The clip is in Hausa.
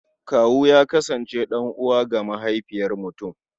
Kawu ya kasance ɗan'uwa ga mahaifiyar mutum.